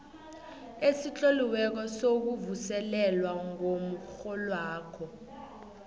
esitloliweko sokuvuselelwa komrholwakho